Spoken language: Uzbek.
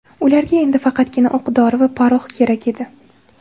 Ularga endi faqatgina o‘q dori va porox kerak edi.